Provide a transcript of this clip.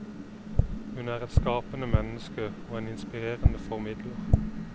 Hun er et skapende menneske og en inspirerende formidler.